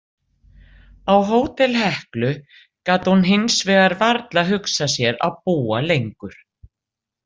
Á Hótel Heklu gat hún hinsvegar varla hugsað sér að búa lengur.